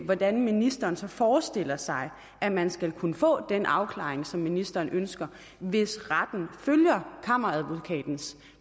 hvordan ministeren så forestiller sig at man skal kunne få den afklaring som ministeren ønsker hvis retten følger kammeradvokatens